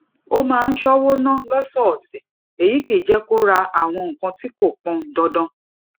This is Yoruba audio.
ó máa ń ṣówó ná lósòòsè èyí kì í jé kó ra àwọn nǹkan tí kò pọn dandan